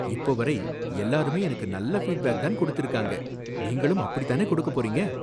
இப்ப வரை எல்லாருமே எனக்கு நல்ல ஃபீட்பேக் தான் கொடுத்திருக்காங்க, நீங்களும் அப்படி தானே கொடுக்கப்போறீங்க .